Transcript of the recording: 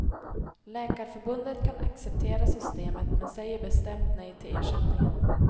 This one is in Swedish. Läkarförbundet kan acceptera systemet men säger bestämt nej till ersättningen.